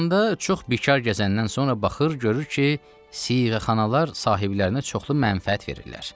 İranda çox bikar gəzəndən sonra baxır, görür ki, siğəxanalar sahiblərinə çoxlu mənfəət verirlər.